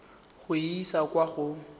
go e isa kwa go